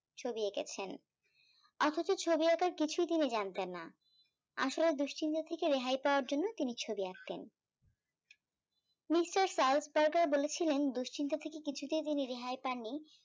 ছবি এঁকেছেন অথচ ছবি আঁকার কিছুই তিনি জানতেন না আসলে দুশ্চিন্তা থেকে রেহাই পাওয়ার জন্য তিনি ছবি আঁকতেন নিশ্চই বলেছিলেন দুশ্চিন্তা থেকে কিছুতেই তিনি রেহাই পাননি